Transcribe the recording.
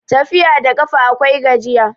Tafiya da ƙafa akwai gajiya